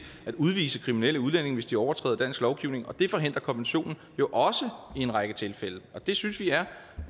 at udvise kriminelle udlændinge hvis de overtræder dansk lovgivning og det forhindrer konventionen jo også i en række tilfælde det synes vi er